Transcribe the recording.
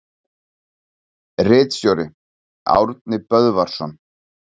Ritstjóri: Árni Böðvarsson.